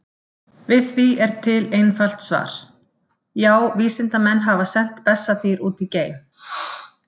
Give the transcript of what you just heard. Við því er til einfalt svar: Já, vísindamenn hafa sent bessadýr út í geim!